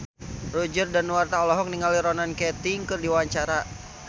Roger Danuarta olohok ningali Ronan Keating keur diwawancara